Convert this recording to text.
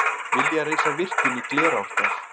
Vilja reisa virkjun í Glerárdal